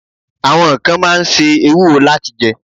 Àwọn kan máa ń ṣe ewúro láti jẹ́.